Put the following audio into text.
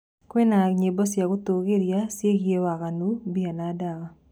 kwĩna nyĩmbo cĩa gutengeng'eria ciĩgie waganu,,mbia na dawa